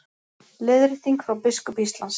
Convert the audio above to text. Leiðrétting frá biskup Íslands